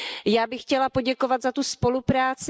Já bych chtěla poděkovat za tu spolupráci.